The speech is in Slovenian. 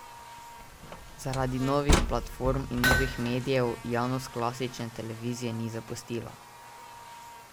Zaradi novih platform in novih medijev javnost klasične televizije ni zapustila.